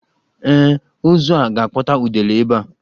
Ee, ozu a ga-akpọta udele ebe a.